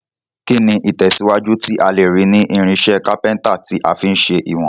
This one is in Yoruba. Kíni ìtẹ̀síwájú tí a lèrí ni irinsẹ́ carpenter ti a fi n se ìwòn